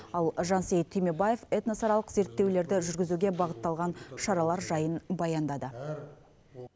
ал жансейіт түймебаев этносаралық зерттеулерді жүргізуге бағытталған шаралар жайын баяндады